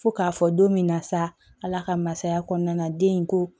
Fo k'a fɔ don min na sa ala ka masaya kɔnɔna na den in ko